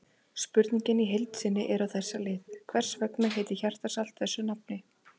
Spurningin í heild sinni er á þessa leið: Hvers vegna heitir hjartarsalt þessu nafni?